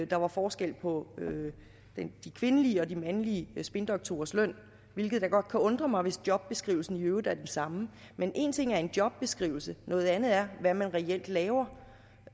der var forskel på de kvindelige og de mandlige spindoktorers løn hvilket da godt kan undre mig hvis jobbeskrivelsen i øvrigt er den samme men en ting er en jobbeskrivelse noget andet er hvad man reelt laver